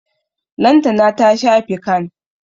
Lantana ta sha fican.